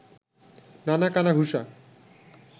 নানা কানাঘুষা